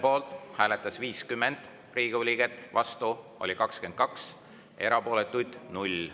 Poolt hääletas 50 Riigikogu liiget, vastu oli 22, erapooletuid 0.